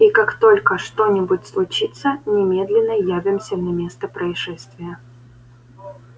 и как только что-нибудь случится немедленно явимся на место происшествия